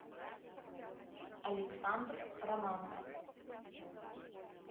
александр романов